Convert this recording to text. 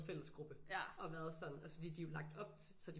Fællesgruppe og været sådan fordi de er jo lagt op så de sådan